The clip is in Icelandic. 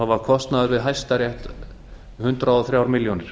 var kostnaður við hæstarétt hundrað og þrjár milljónir